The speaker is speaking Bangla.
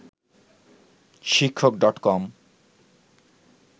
শিক্ষক ডট কম